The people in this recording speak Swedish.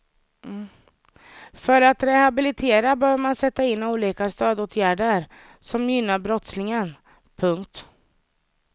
För att rehabilitera behöver man sätta in olika stödåtgärder som gynnar brottslingen. punkt